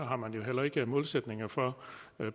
har man jo heller ikke målsætninger for